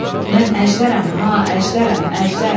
Mən əjdərəm ha, əjdərəm, əjdər.